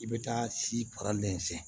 I bɛ taa si